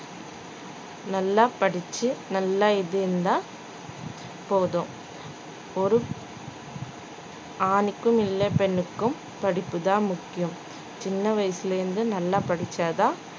நல்லா படிச்சு நல்லா இது இருந்தா போதும் ஒரு ஆணுக்கும் இல்லே பெண்ணுக்கும் படிப்புதான் முக்கியம் சின்ன வயசுலிருந்து நல்லா படிச்சா தான்